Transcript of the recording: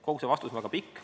" Kogu see vastus on väga pikk.